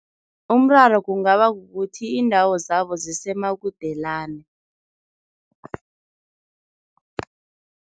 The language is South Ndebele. Umraro kungaba kukuthi iindawo zabo zisemakudelane.